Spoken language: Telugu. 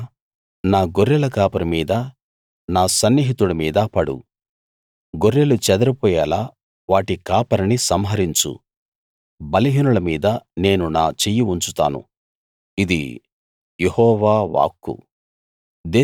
ఖడ్గమా నా గొర్రెల కాపరి మీదా నా సన్నిహితుడి మీదా పడు గొర్రెలు చెదరిపోయేలా వాటి కాపరిని సంహరించు బలహీనుల మీద నేను నా చెయ్యి ఉంచుతాను ఇది యెహోవా వాక్కు